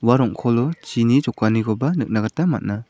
ua rong·kolo chini jokanikoba nikna gita man·a.